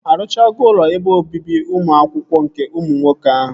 Arụchago ụlọ ebe obibi ụmụ akwụkwọ nke ụmụ nwoke ahụ?